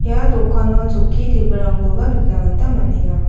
ia dokano chokki tebilrangkoba nikna gita man·enga.